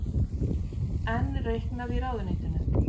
Enn reiknað í ráðuneytinu